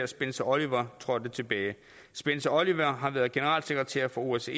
spencer oliver trådte tilbage spencer oliver har været generalsekretær for osce